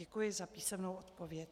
Děkuji za písemnou odpověď.